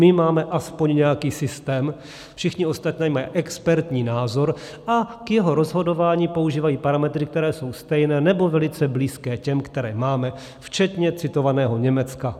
My máme aspoň nějaký systém, všichni ostatní mají expertní názor a k jeho rozhodování používají parametry, které jsou stejné nebo velice blízké těm, které máme, včetně citovaného Německa.